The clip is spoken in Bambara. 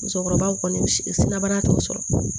Musokɔrɔbaw kɔni siraba t'u sɔrɔ